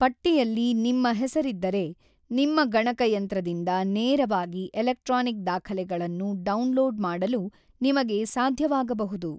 ಪಟ್ಟಿಯಲ್ಲಿ ನಿಮ್ಮ ಹೆಸರಿದ್ದರೆ, ನಿಮ್ಮ ಗಣಕಯಂತ್ರದಿಂದ ನೇರವಾಗಿ ಎಲೆಕ್ಟ್ರಾನಿಕ್ ದಾಖಲೆಗಳನ್ನು ಡೌನ್‌ಲೋಡ್ ಮಾಡಲು ನಿಮಗೆ ಸಾಧ್ಯವಾಗಬಹುದು.